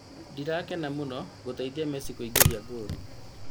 Ndĩrakena mũno gũteithia Messi kũingĩria ngolu